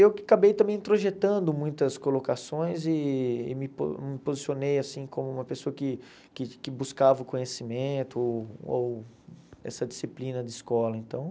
Eu que acabei também introjetando muitas colocações e e me po me posicionei assim como uma pessoa que que que buscava o conhecimento ou essa disciplina de escola então.